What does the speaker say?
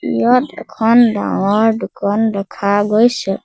ইয়াত এখন ডাঙৰ দোকান দেখা গৈছে।